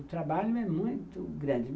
O trabalho é muito grande.